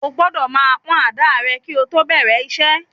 Ó gbọ́dọ̀ máa pọ́n àdáà rẹ kí o tó bẹ̀rẹ̀ iṣẹ́.